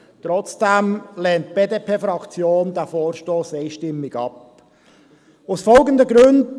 Trotzdem lehnt die BDP-Fraktion diesen Vorstoss einstimmt ab, aus folgenden Gründen.